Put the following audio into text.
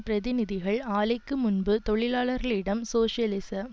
பிரதிநிதிகள் ஆலைக்கு முன்பு தொழிலாளர்களிடம் சோசியலிச